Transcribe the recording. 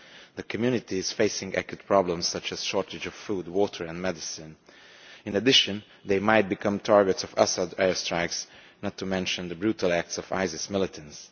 The community is facing acute problems such as shortages of food, water and medicine. In addition, they could become targets of Assad's airstrikes, not to mention the brutal acts of ISIS militants.